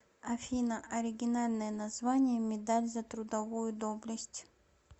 афина оригинальное название медаль за трудовую доблесть